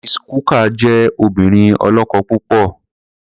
Mrs. Cooker jẹ́ obìnrin ọlọ́kọ̀ púpọ̀.